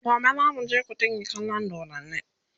gobe zamu je kutigi kallan doddani